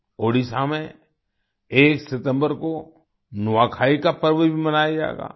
ओडिशा में 1 सितंबर को नुआखाई का पर्व भी मनाया जाएगा